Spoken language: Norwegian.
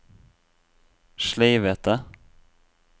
sleivete